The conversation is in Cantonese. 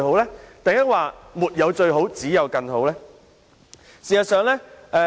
其實，是沒有最好，只有更好對嗎？